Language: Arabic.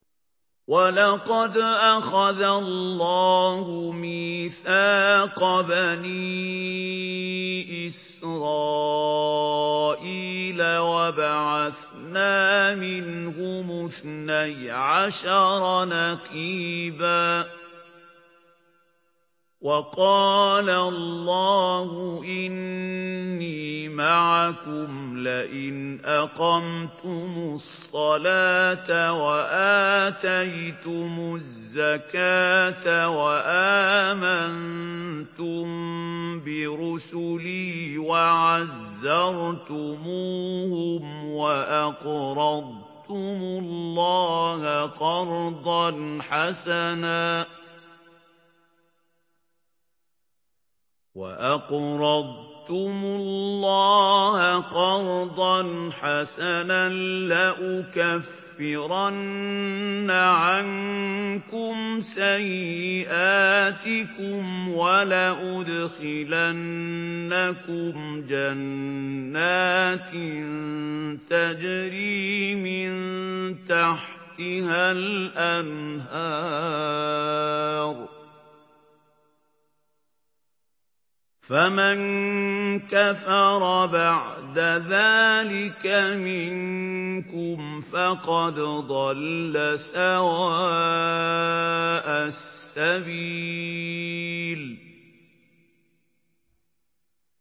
۞ وَلَقَدْ أَخَذَ اللَّهُ مِيثَاقَ بَنِي إِسْرَائِيلَ وَبَعَثْنَا مِنْهُمُ اثْنَيْ عَشَرَ نَقِيبًا ۖ وَقَالَ اللَّهُ إِنِّي مَعَكُمْ ۖ لَئِنْ أَقَمْتُمُ الصَّلَاةَ وَآتَيْتُمُ الزَّكَاةَ وَآمَنتُم بِرُسُلِي وَعَزَّرْتُمُوهُمْ وَأَقْرَضْتُمُ اللَّهَ قَرْضًا حَسَنًا لَّأُكَفِّرَنَّ عَنكُمْ سَيِّئَاتِكُمْ وَلَأُدْخِلَنَّكُمْ جَنَّاتٍ تَجْرِي مِن تَحْتِهَا الْأَنْهَارُ ۚ فَمَن كَفَرَ بَعْدَ ذَٰلِكَ مِنكُمْ فَقَدْ ضَلَّ سَوَاءَ السَّبِيلِ